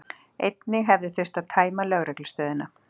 Einnig hefði þurft að tæma lögreglustöðina